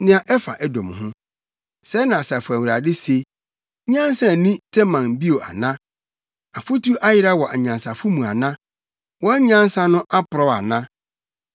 Nea ɛfa Edom ho: Sɛɛ na Asafo Awurade se: “Nyansa nni Teman bio ana? Afotu ayera wɔ anyansafo mu ana? Wɔn nyansa no aporɔw ana?